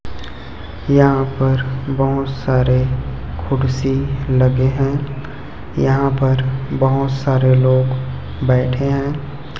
यहां पर बहोत सारे कुर्सी लगे हैं यहां पर बहोत सारे लोग बैठे हैं।